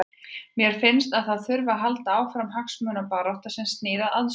Mér finnst að það þurfi að halda áfram hagsmunabaráttu sem snýr að aðstöðu.